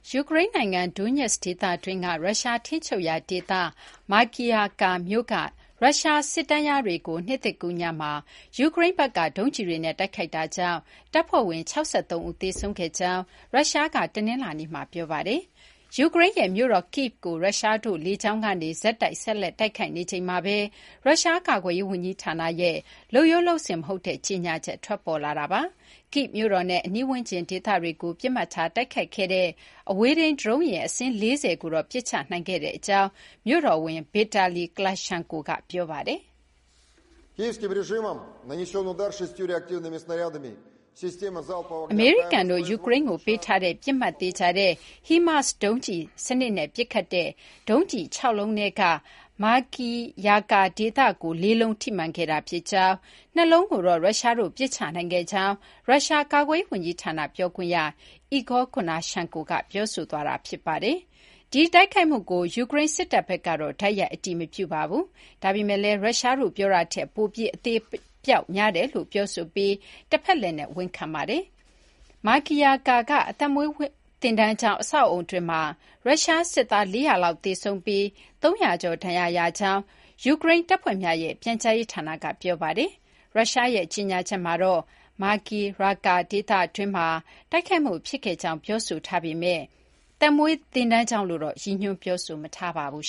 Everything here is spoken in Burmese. ယူကရိန်းနိုင်ငံ Donetsk ဒေသတွင်းက ရုရှား ထိန်းချုပ်ရာ ဒေသ Makiivka မြို့က ရုရှား စစ်တန်းလျားတွေကို နှစ်သစ်ကူးညမှာ ယူကရိန်းဘက်က ဒုံးကျည်တွေနဲ့ တိုက်ခိုက်တာကြောင့် တပ်ဖွဲ့ဝင် ၆၃ ဦး သေဆုံးခဲ့ကြောင်း ရုရှားက တနလာၤနေ့မှာ ပြောပါတယ်။ ယူကရိန်းရဲ့ မြို့တော် Kyiv ကို ရုရှားတို့က လေကြောင်းကနေ ဆက်တိုက် တိုက်ခိုက်နေချိန်မှာဘဲ ရုရှား ကာကွယ်ရေး ဝန်ကြီးဌာနရဲ့ လုပ်ရိုး လုပ်စဉ် မဟုတ်တဲ့ ကြေညာချက် ထွက်ပေါ်လာတာပါ။ Kyiv မြို့တော်နဲ့ အနီးဝန်းကျင် ဒေသတွေကို ပစ်မှတ်ထားတိုက်ခိုက်ခဲ့ အဝေးထိန်း ဒရုန်းယာဉ် အစင်း ၄၀ လုံးကိုတော့ ပစ်ချ နိုင်ခဲ့ကြောင်း မြို့တော်ဝန် Vitali Klitschko က ပြောပါတယ်။ " အမေရိကန်တို့ ယူကရိန်းကို ပေးထားတဲ့ ပစ်မှတ်သေချာတဲ့ HIMARS ဒုံးကျည် စနစ်နဲ့ ပစ်ခတ်တဲ့ ဒုံးကျည် ၆ လုံးထဲက Makiivka ဒေသကို ၄ လုံး ထိမှန်ခဲ့တာ ဖြစ်ကြောင်း ၊ ၂ လုံးကိုတော့ ရုရှားတို့က ပစ်ချနိုင်ခဲ့ကြောင်း ရုရှား ကာကွယ်ရေး ဝန်ကြီးဌာန ပြောခွင့်ရ Igor Konashenkov က ပြောဆိုခဲ့တာ ဖြစ်ပါတယ် " ဒီတိုက်ခိုက်မှုကို ယူကရိန်း စစ်တပ် ဘက်ကတော့ တိုက်ရိုက် အတည်မပြုပါဘူး။ ဒါပေမယ့်လည်း ရုရှားတို့ ပြောတာထက် ပိုပြီး အသေအပျောက်များတယ်လို့ ပြောဆိုပြီး တဖက်လှည့်နဲ့ ဝန်ခံထားပါတယ်။ Makiivka က သက်မွေးသင်တန်းကျောင်း အဆောက်အအုံတွင်းမှာ ရုရှား စစ်သား ၄၀၀ လောက် သေဆုံးပြီး ၃၀၀ ကျော် ဒဏ်ရာရကြောင်း ယူကရိန်း တပ်ဖွဲ့များရဲ့ ပြန်ကြားရေးဌာနက ပြောဆိုထားပါတယ်။ ရုရှားရဲ့ ကြေညာချက်မှာတော့ Makiivka ဒေသတွင်းမှာ တိုက်ခိုက်မှု ဖြစ်ခဲ့ကြောင်း ပြောဆိုထားပေမဲ့ သက်မွေးသင်တန်းကျောင်းလို့တော့ ရည်ညွှန်း ပြောဆိုမထားပါဘူး